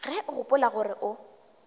ge o gopola gore o